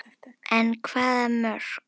En hvaða mörk?